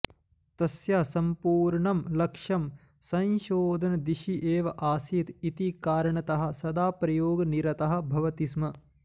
तस्य सम्पूर्णं लक्ष्यं संशोधनदिशि एव आसीत् इति कारणतः सदा प्रयोगनिरतः भवति स्म